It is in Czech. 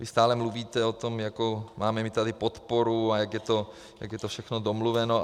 Vy stále mluvíte o tom, jakou máme my tady podporu a jak je to všechno domluveno.